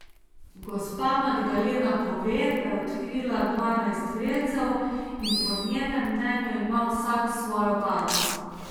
Gospa Magdalena pove, da je odkrila dvanajst vrelcev in po njenem mnenju ima vsak svojo barvo.